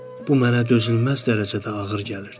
Bu mənə dözülməz dərəcədə ağır gəlirdi.